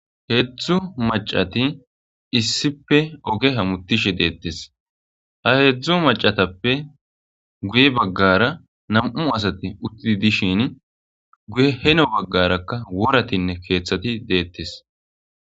heedzdzu macati issipe oge hamutishe deettes ha heedzdzu macatappe guye baggara nam7u asati uttidi dishin guye heno baggarakka woratinne keeththati deettes